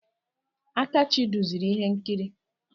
Akachi duziri ihe nkiri.